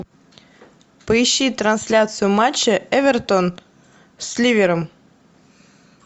поищи трансляцию матча эвертон с ливером